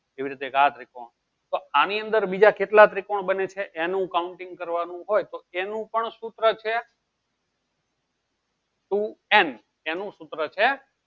એવી રીતે એક આ ત્રિકોણ તો આની અંદર બીજા કેટલા ત્રિકોણ બને છે એનું counting કરવાનું હોય તો તેનું પણ સૂત્ર છે two n તેનું સૂત્ર છે.